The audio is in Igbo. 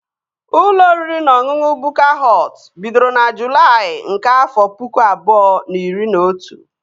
Ụlọ oriri na ọṅụṅụ Bukka Họt bidoro na Julaị nke afọ pụkụ abụọ na iri na otu